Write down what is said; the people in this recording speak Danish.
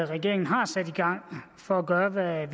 regeringen har sat i gang for at gøre hvad